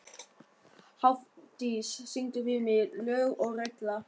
Hafdís, syngdu fyrir mig „Lög og regla“.